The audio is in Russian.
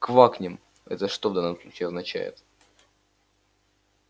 квакнем это что в данном случае означает